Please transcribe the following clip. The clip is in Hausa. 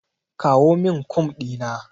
Kawo min Kum ɗina.